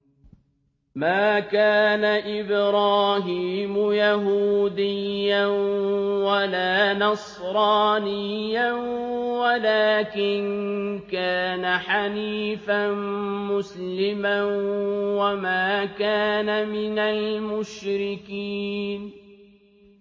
مَا كَانَ إِبْرَاهِيمُ يَهُودِيًّا وَلَا نَصْرَانِيًّا وَلَٰكِن كَانَ حَنِيفًا مُّسْلِمًا وَمَا كَانَ مِنَ الْمُشْرِكِينَ